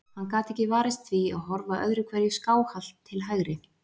Hann gat ekki varist því að horfa öðru hverju skáhallt til hægri.